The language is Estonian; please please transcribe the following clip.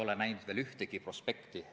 Tulen eelmise küsimuse jätku juurde.